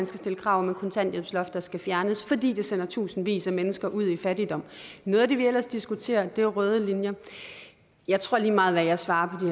stille krav om et kontanthjælpsloft der skal fjernes fordi det sender tusindvis af mennesker ud i fattigdom noget af det vi ellers diskuterer er røde linjer jeg tror at lige meget hvad jeg svarer på